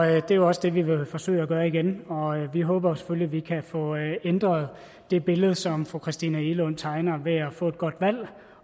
er jo også det vi vil forsøge at gøre igen vi håber selvfølgelig at vi kan få ændret det billede som fru christina egelund tegner ved at få et godt valg